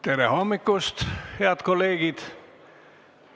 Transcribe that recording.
Tere hommikust, head kolleegid!